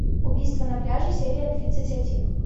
убийство на пляже серия тридцать один